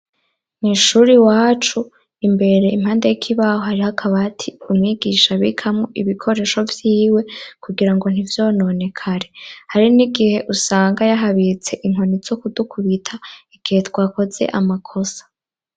Mw’ishuri wacu imbere impande y'ikibaho harih’akabati umwigisha abikamwo ibikoresho vyiwe kugira ngo ntivyononekare ,hari n'igihe usanga yahabitse inkoni zo kudukubita igihe twakoze amakosa.